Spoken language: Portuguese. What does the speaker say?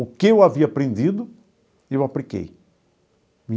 O que eu havia aprendido, eu apliquei.